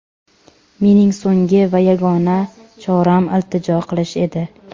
Mening so‘nggi va yagona choram iltijo qilish edi.